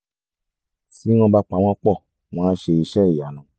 tí wọ́n bá pa wọ́n pọ̀ wọ́n á ṣe iṣẹ́ ìyanu